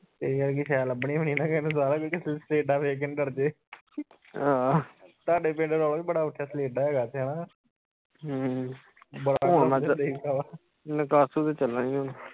ਤੇਰੇ ਵਰਗੀ ਸਹਿ ਲੱਭਣੀ ਵੀ ਨਹੀਂ ਨਾ ਕਿਸੇ ਨੂੰ ਸਲੇਡਾ ਵੇਖ ਕੇ ਨਾ ਡਰਜੇ ਤੁਹਾਡੇ ਪਿੰਡ ਰੌਲਾ ਈ ਬੜਾ ਉਠਿਆ ਸਲੇਡਾ ਹੇਗਾ ਓਥੇ ਹੇਨਾ